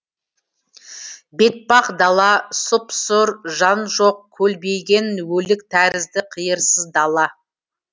бетпақ дала сұп сұр жан жоқ көлбеген өлік тәрізді қиырсыз дала